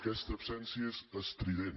aquesta absència és estrident